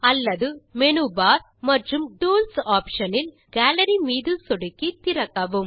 அல்லது menu bar மற்றும் tools option இல் கேலரி மீது சொடுக்கி திறக்கவும்